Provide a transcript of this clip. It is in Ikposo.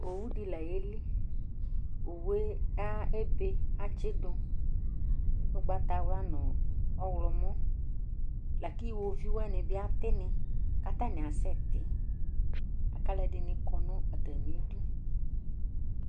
owu dɩ la yeli, owu yɛ ebe kʊ atsidʊ ugbatawla nʊ ɔwlɔmɔ, lakʊ iwoviuwanɩ bɩ atɩnɩ, kʊ atanɩ asɛti, kʊ alʊɛdɩnɩ kɔ nʊ atamidu